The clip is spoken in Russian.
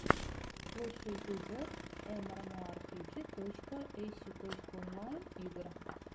лучший эпизод эмэмоарпиджи точка эсю точка онлайн игр